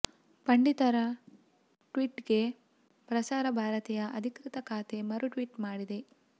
ಪಂಡಿತರ ಟ್ವೀಟ್ಗೆ ಪ್ರಸಾರ ಭಾರತಿಯ ಅಧಿಕೃತ ಖಾತೆ ಮರು ಟ್ವೀಟ್ ಮಾಡಿದೆ